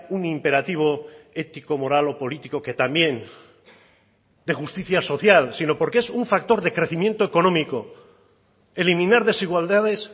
un imperativo ético moral o político que también de justicia social sino porque es un factor de crecimiento económico eliminar desigualdades